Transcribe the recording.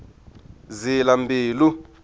zilambilu